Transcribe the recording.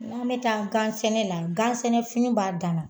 N'an bɛ taa gansɛnɛ na gansɛnɛfini b'a dan na